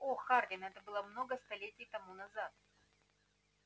о хардин это было много столетий тому назад